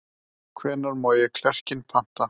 Hvenær má ég klerkinn panta?